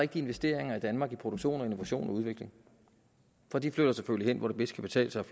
de investeringer i danmark i produktion og innovation og udvikling for de flytter selvfølgelig hen hvor det bedst kan betale sig